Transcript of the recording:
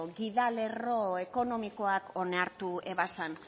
gidalerro ekonomikoak onartu zituen